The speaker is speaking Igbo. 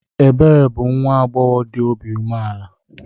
Ebere bụ nwa agbọghọ dị obi umeala.